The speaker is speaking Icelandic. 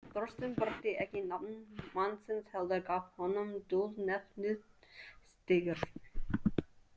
Þorsteinn birti ekki nafn mannsins, heldur gaf honum dulnefnið „Stígur“.